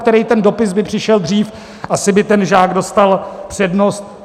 který ten dopis by přišel dřív, asi by ten žák dostal přednost.